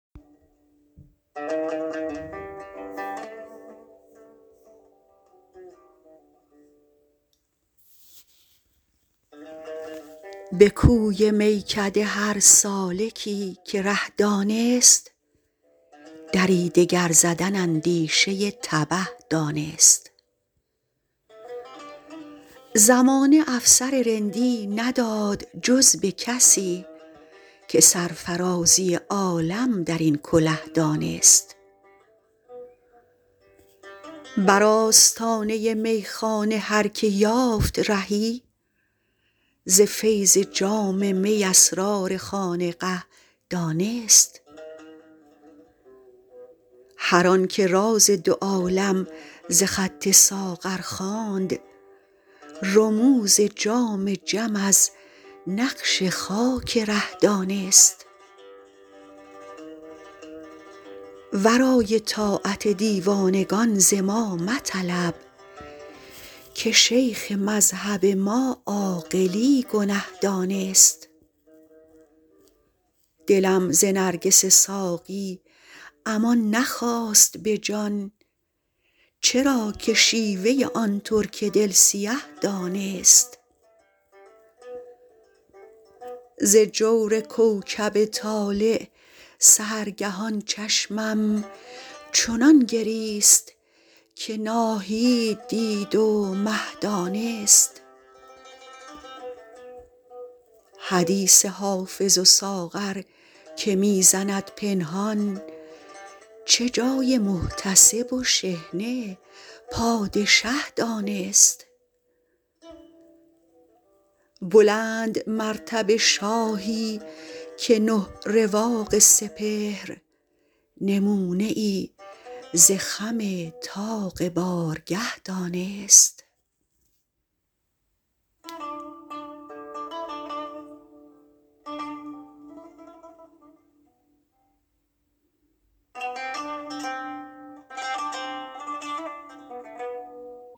به کوی میکده هر سالکی که ره دانست دری دگر زدن اندیشه تبه دانست زمانه افسر رندی نداد جز به کسی که سرفرازی عالم در این کله دانست بر آستانه میخانه هر که یافت رهی ز فیض جام می اسرار خانقه دانست هر آن که راز دو عالم ز خط ساغر خواند رموز جام جم از نقش خاک ره دانست ورای طاعت دیوانگان ز ما مطلب که شیخ مذهب ما عاقلی گنه دانست دلم ز نرگس ساقی امان نخواست به جان چرا که شیوه آن ترک دل سیه دانست ز جور کوکب طالع سحرگهان چشمم چنان گریست که ناهید دید و مه دانست حدیث حافظ و ساغر که می زند پنهان چه جای محتسب و شحنه پادشه دانست بلندمرتبه شاهی که نه رواق سپهر نمونه ای ز خم طاق بارگه دانست